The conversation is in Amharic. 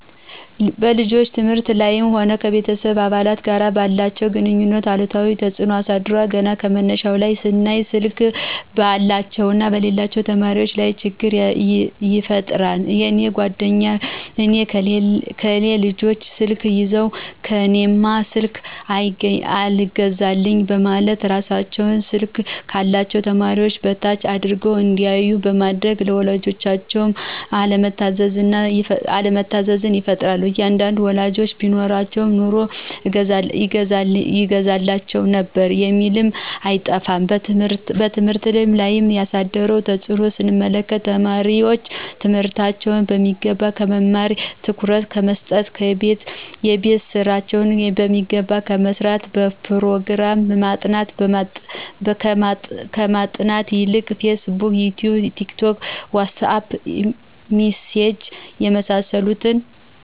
በልጆች ትምህርት ላይም ሆነ ከቤተሰብ አባላት ጋር ባላቸው ግንኙነት አሉታዊ ተጽኖ አሳድሯል ገና ከመነሻው ላይ ስናይ ስልክ ባላቸውና በሌላቸው ተማሪወች ላይ ችግር ይፈጥራል የኔ ጓደኞች የነ ከሌ ልጆች ስልክ ይዘው ለእኔማ ስልክ ሳይገዛልኝ በማለት እራሳቸውን ስልክ ካላቸው ተማሪዎች በታች አድርገው እንዲያዮ በማድረግ ለወላጆቻቸው አለመታዘዝን ይፈጥራል አንዳንድ ወላጆችም ቢኖረኝ ኑሮ እገዛላቸው ነበር የሚሉ አይጠፉም። በትምህርት ላይ ያሳደረውን ተጽኖ ስንመለከት ተማሪወች ትምህርታቸውን በሚገባ ከመማርና ትኩረት ከመሰጠት :የቤት ስራቸውን በሚገባ ከመስራትና በጵሮግራም ጥናት ከማጥናት ይልቅ ፌስቡክ :ይቲዩብ :ቲክቶክ: ዋትሳጵ: ሚሴጅ የመሳሰሉት